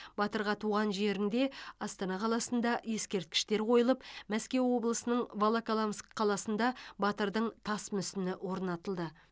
батырға туған жерінде астана қаласында ескерткіштер қойылып мәскеу облысында волоколамск қаласында батырдың тас мүсіні орнатылды